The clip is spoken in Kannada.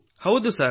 ಹೌದು ಸರ್